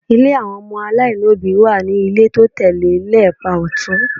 Ilé àwọn ọmọ aláìlóbìí wà ní ilé tó tẹ̀ lé e lápá ọ̀tún